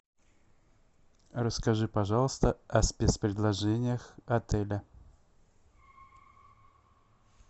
расскажи пожалуйста о спецпредложениях отеля